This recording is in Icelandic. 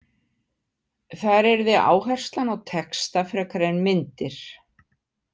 Þar yrði áherslan á texta frekar en myndir.